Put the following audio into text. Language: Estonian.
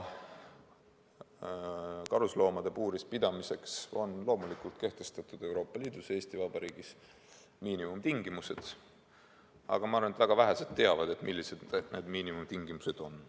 Karusloomade puuris pidamiseks on loomulikult kehtestatud Euroopa Liidus ja ka Eesti Vabariigis miinimumtingimused, aga ma arvan, et väga vähesed teavad, millised need miinimumtingimused on.